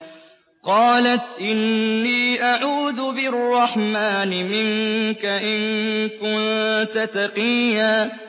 قَالَتْ إِنِّي أَعُوذُ بِالرَّحْمَٰنِ مِنكَ إِن كُنتَ تَقِيًّا